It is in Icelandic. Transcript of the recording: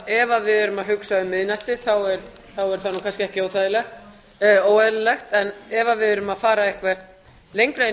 ef við erum að hugsa um miðnætti er það nú kannski ekki óeðlilegt en ef við erum að fara eitthvert lengra inn í